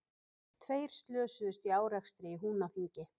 Tveir slösuðust í árekstri í Húnaþingi